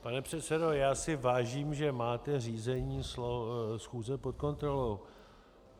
Pane předsedo, já si vážím, že máte řízení schůze pod kontrolou.